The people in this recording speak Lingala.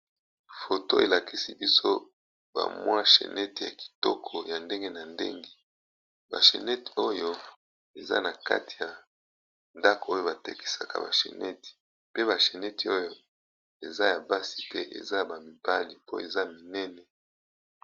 foto elakisi biso bamwa shenete ya kitoko ya ndenge na ndenge bashenete oyo eza na kati ya ndako oyo batekisaka bashenete pe basheneti oyo eza ya basi pe na bamibali po eza minene.